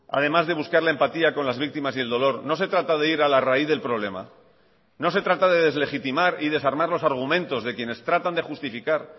además de buscar la empatía con las víctimas y el dolor no se trata de ir a la raíz del problema no se trata de deslegitimar y desarmar los argumentos de quienes tratan de justificar